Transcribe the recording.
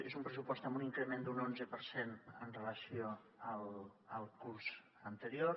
és un pressupost amb un increment d’un onze per cent amb relació al curs anterior